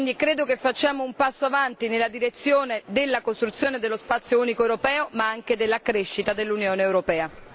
Credo che facciamo un passo avanti nella direzione della costruzione dello spazio unico europeo, ma anche della crescita dell'Unione europea.